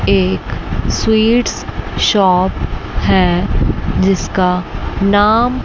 एक sweets shop हैं जिसका नाम--